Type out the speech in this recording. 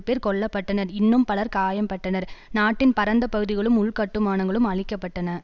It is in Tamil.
பேர் கொல்ல பட்டனர் இன்னும் பலர் காயம்பட்டனர் நாட்டின் பரந்த பகுதிகளும் உள்கட்டுமானங்களும் அழிக்க பட்டன